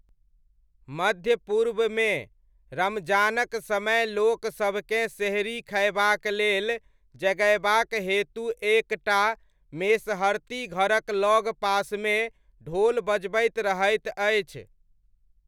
मध्य पूर्वमे, रमजानक समय लोक सभकेँ सेहरी खयबाक लेल जगयबाक हेतु एक टा मेसहरती घरक लगपासमे ढोल बजबैत रहैत अछि।